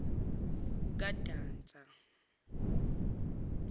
kandasa